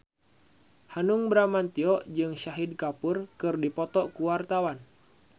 Hanung Bramantyo jeung Shahid Kapoor keur dipoto ku wartawan